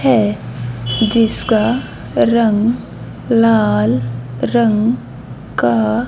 है जिसका रंग लाल रंग का--